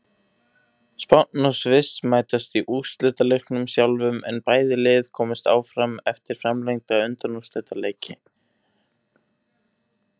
Spánn og Sviss mætast í úrslitaleiknum sjálfum en bæði lið komust áfram eftir framlengda undanúrslitaleiki.